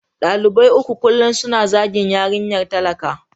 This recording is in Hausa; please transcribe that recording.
Dalibai uku kullum suna zagin yarinyar talaka.